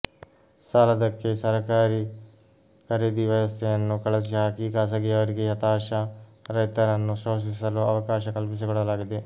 ಸಾಲದ್ದಕ್ಕೆ ಸರಕಾರೀ ಖರೀದಿ ವ್ಯವಸ್ಥೆಯನ್ನು ಕಳಚಿ ಹಾಕಿ ಖಾಸಗಿಯವರಿಗೆ ಹತಾಶ ರೈತರನ್ನು ಶೋಷಿಸಲು ಅವಕಾಶ ಕಲ್ಪಿಸಿಕೊಡಲಾಗಿದೆ